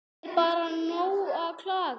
Er bara nóg að klaga?